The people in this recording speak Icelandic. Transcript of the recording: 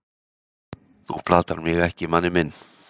þú platar mig ekki manni minn.